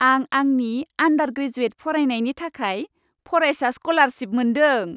आं आंनि आन्डार ग्रेजुएट फरायनायनि थाखाय फरायसा स्क'लारसिप मोनदों।